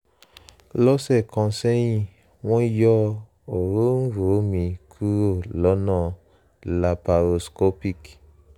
lọ́sẹ̀ kan sẹ́yìn wọ́n yọ òróǹro mi kúrò lọ́nà laparoscopic